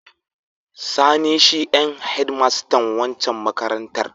Sani shi en hedmastan waccan makarantar.